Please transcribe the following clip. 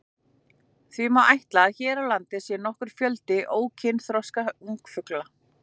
Því má ætla að hér á landi sé nokkur fjöldi ókynþroska ungfugla.